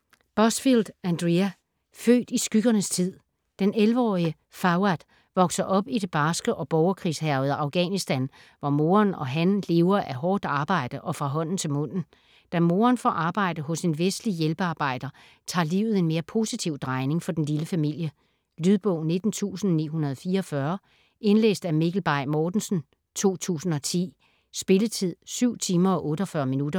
Busfield, Andrea: Født i skyggernes tid Den 11-årige Fawad vokser op i det barske og borgerkrigshærgede Afghanistan, hvor moderen og han lever af hårdt arbejde og fra hånden til munden. Da moderen får arbejde hos en vestlig hjælpearbejder, tager livet en mere positiv drejning for den lille familie. Lydbog 19944 Indlæst af Mikkel Bay Mortensen, 2010. Spilletid: 7 timer, 48 minutter.